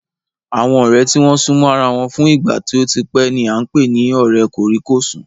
Àwọn ọ̀rẹ́ tí wọ́n súnmọ́ ara wọn fún ìgbà tí ó tí pẹ́ ni à ń pè ní ọ̀rẹ́ kòríkòsùn